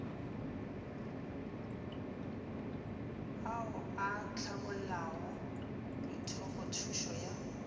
ao a hlabollago methopothušo ya